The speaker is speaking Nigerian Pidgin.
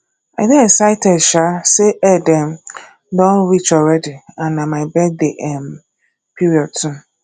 i dey excited um say eid um don reach already and na my birthday um period too